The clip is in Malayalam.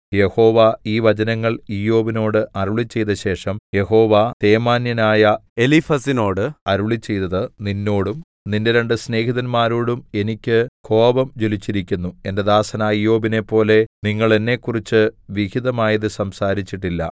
യഹോവ ഈ വചനങ്ങൾ ഇയ്യോബിനോട് അരുളിച്ചെയ്തശേഷം യഹോവ തേമാന്യനായ എലീഫസിനോട് അരുളിച്ചെയ്തത് നിന്നോടും നിന്റെ രണ്ട് സ്നേഹിതന്മാരോടും എനിക്ക് കോപം ജ്വലിച്ചിരിക്കുന്നു എന്റെ ദാസനായ ഇയ്യോബിനെപ്പോലെ നിങ്ങൾ എന്നെക്കുറിച്ച് വിഹിതമായത് സംസാരിച്ചിട്ടില്ല